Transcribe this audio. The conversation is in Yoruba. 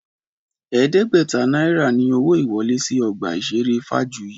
Ẹ̀ẹ́dẹ́gbẹ̀ta náírà ni owó ìwọlé sí ọgbà ìṣeré Fájuyì